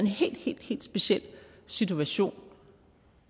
helt helt speciel situation